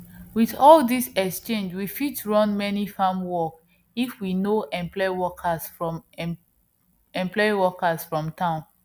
with all this exchange we fit run many farm work if we no employ workers from employ workers from town